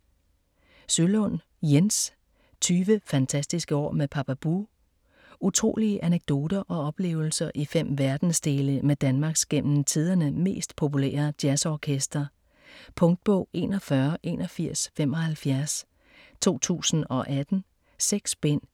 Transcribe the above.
Sølund, Jens: 20 fantastiske år med Papa Bue Utrolige anekdoter og oplevelser i fem verdensdele med Danmarks gennem tiderne mest populære jazzorkester. Punktbog 418175 2018. 6 bind.